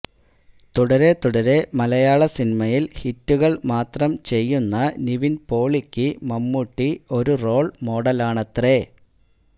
തുടരെ തുടരെ മലയാള സിനിമയില് ഹിറ്റുകള് മാത്രം ചെയ്യുന്ന നിവിന് പോളിയ്ക്ക് മമ്മൂട്ടി ഒരു റോള് മോഡലാണത്രെ